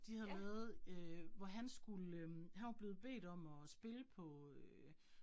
Det havde lavet øh hvor han skulle øh, han var blevet bedt om at spille på øh